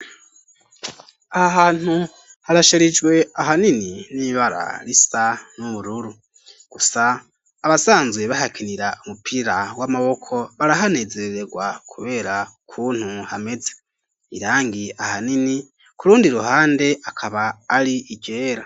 Aha hantu, harasharijwe, ahanini n'ibara risa n'ubururu; gusa abasanzwe bahakinira, umupira w'amaboko, barahanezerererwa, kubera ukuntu hameze; irangi ahanini, ku rundi ruhande, akaba ari iryera.